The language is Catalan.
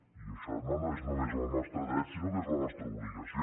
i això no és només el nostre dret sinó que és la nostra obligació